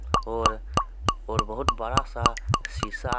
और और बोहोत बड़ा सा सीसा हे.